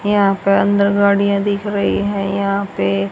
यहां पर अंदर गाड़ियां दिख रही है यहां पे--